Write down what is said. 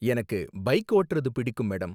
எனக்கு பைக் ஓட்டறது பிடிக்கும், மேடம்.